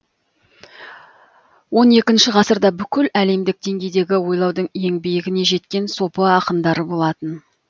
он екінші ғасырда бүкіл әлемдік деңгейдегі ойлаудың ең биігіне жеткен сопы ақындары болатын